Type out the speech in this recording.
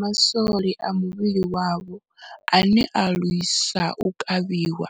Ma swole a muvhili wavho ane a lwisa u kavhiwa,